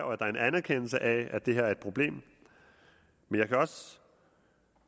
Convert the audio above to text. og at der er en anerkendelse af at det her er et problem jeg kan også